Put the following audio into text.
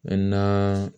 na